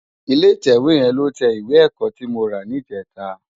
Ilé itèwé yèn ló tè iwé èkò ti mó rá nijètá